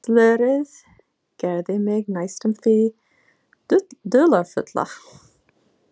Slörið gerði mig næstum því dularfulla.